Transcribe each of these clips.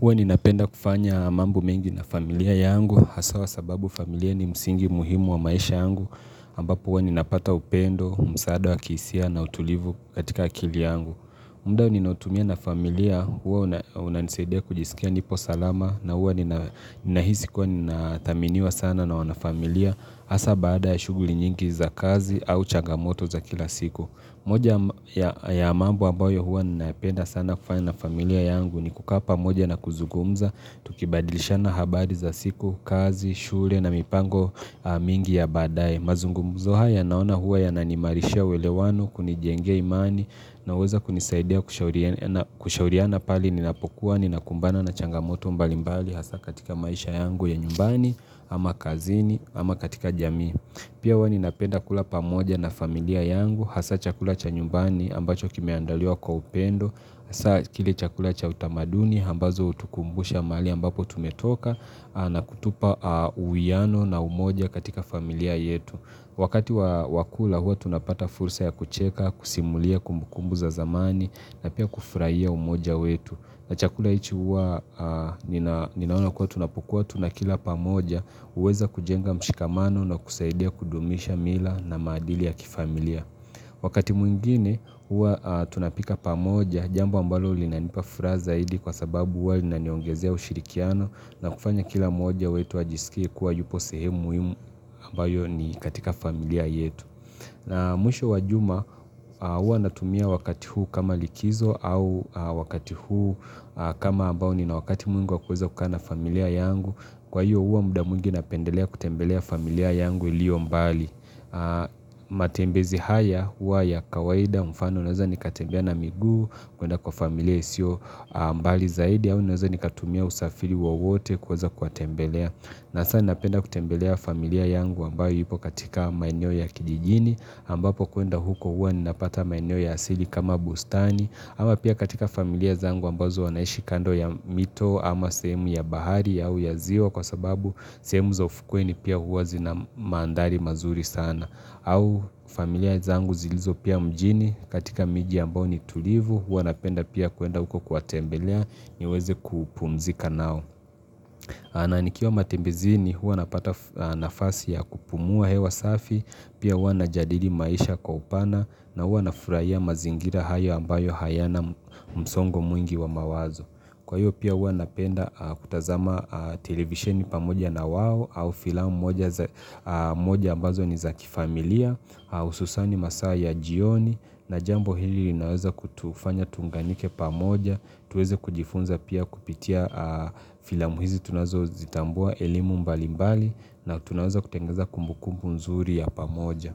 Huwa ninapenda kufanya mambo mengi na familia yangu, hasa sababu familia ni msingi muhimu wa maisha yangu, ambapo huwa ninapata upendo, msaada wa kihisia na utulivu katika akili yangu. Muda ninaotumia na familia, huwa unanisaidia kujisikia nipo salama, na huwa nina nahisi kwa ninathaminiwa sana na wana familia, hasa baada ya shughuli nyingi za kazi au chagamoto za kila siku. Moja ya mambo ambayo huwa napenda sana kufanya na familia yangu ni kukaa pamoja na kuzungumza Tukibadilishana habari za siku, kazi, shule na mipango mingi ya baadaye mazungumzo haya naona huwa yananimarishia uwelewano kunijengea imani Naweza kunisaidia kushauri kushauriana pahali ninapokuwa ninakumbana na changamoto mbali mbali hasa katika maisha yangu ya nyumbani ama kazini ama katika jamii Pia huwa ninapenda kula pamoja na familia yangu, hasa chakula cha nyumbani ambacho kimeandaliwa kwa upendo, hasa kile chakula cha utamaduni, ambazo hutukumbusha mahali ambapo tumetoka na kutupa uwiano na umoja katika familia yetu. Wakati wa kula huwa tunapata fursa ya kucheka, kusimulia kumbukumbu za zamani, na pia kufurahia umoja wetu. Na chakula hicho huwa ninaona kuwa tunapokuwa tunakila pamoja, huweza kujenga mshikamano na kusaidia kudumisha mila na maadili ya kifamilia. Wakati mwingine huwa tunapika pamoja, jambo ambalo linanipa furaha zaidi kwa sababu huwa linaniongezea ushirikiano na kufanya kila moja wetu ajisikie kuwa yupo sehemu muhimu ambayo ni katika familia yetu na mwisho wa juma huwa natumia wakati huu kama likizo au wakati huu kama ambao nina wakati mwingi wa kuweza kukaa familia yangu Kwa hiyo huwa muda mwingi napendelea kutembelea familia yangu iliyo mbali matembezi haya huwa ya kawaida mfano naweza nikatembea na miguu kuenda kwa familia isio mbali zaidi au naweza nikatumia usafiri wowote kuweza kuwatembelea na sana napenda kutembelea familia yangu ambayo ipo katika maeneo ya kijijini ambapo kuenda huko huwa ninapata maeneo ya asili kama bustani ama pia katika familia zangu ambazo wanaishi kando ya mito ama sehemu ya bahari au ya ziwa kwa sababu sehemu za ufukweni pia huwa zina maandhari mazuri sana au familia zangu zilizo pia mjini katika miji ambao ni tulivu huwa napenda pia kuenda huko kuwatembelea niweze kupumzika nao na nikiwa matembezini huwa napata nafasi ya kupumua hewa safi pia huwa najadili maisha kwa upana na huwa na furahia mazingira hayo ambayo hayana msongo mwingi wa mawazo kwa hiyo pia huwa napenda kutazama televisheni pamoja na wao au filamu moja za moja ambazo ni za kifamilia au hususan masaa ya jioni na jambo hili inaweza kutufanya tuunganike pamoja tuweze kujifunza pia kupitia filamu hizi tunazozitambua elimu mbali mbali na tunaeza kutengeza kumbukumbu nzuri ya pamoja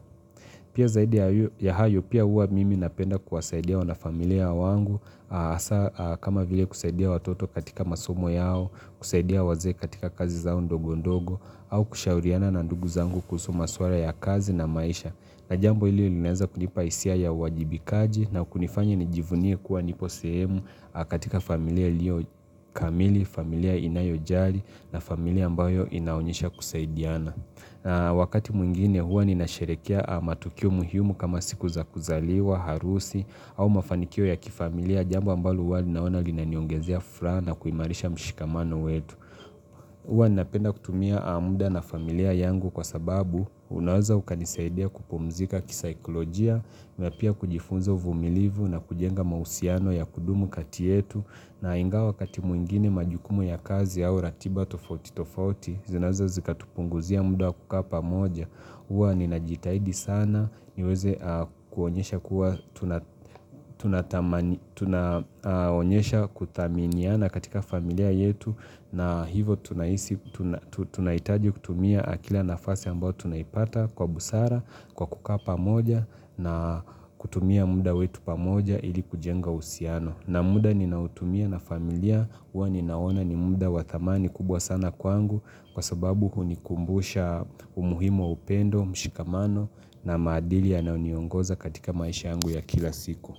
pia zaidi ya hayo pia huwa mimi napenda kuwasaidia wana familia wangu hasa kama vile kusaidia watoto katika masomo yao kusaidia wazee katika kazi zao ndogo ndogo au kushauriana na ndugu zangu kuhusu maswala ya kazi na maisha na jambo hili linaeza kunipa hisia ya uwajibikaji na kunifanya nijivunie kuwa nipo sehemu katika familia iliyo kamili, familia inayojali na familia ambayo inaonyesha kusaidiana. Wakati mwingine huwa ninasherehekea matukio muhimu kama siku za kuzaliwa, harusi au mafanikio ya kifamilia jambo ambalo huwa naona linaniongezea furaha na kuimarisha mshikamano wetu. Huwa ninapenda kutumia muda na familia yangu kwa sababu unaweza ukanisaidia kupumzika kisikolojia, na pia kujifunza uvumilivu na kujenga mahusiano ya kudumu kati yetu na ingawa wakati mwingine majukumu ya kazi au ratiba tofauti tofauti zinazo zikatupunguzia muda wa kukaa pamoja. Huwa ninajitahidi sana niweze kuonyesha kuwa tuna kuonyesha thaminiana katika familia yetu na hivo tunahisi tunahitaji kutumia kila nafasi ambao tunaipata kwa busara kwa kukaa pamoja na kutumia muda wetu pamoja ili kujenga uhusiano. Na muda ninaotumia na familia huwa ninaona ni muda wa thamani kubwa sana kwangu kwa sababu hunikumbusha umuhimu wa upendo, mshikamano na maadili yanayo niongoza katika maisha yangu ya kila siku.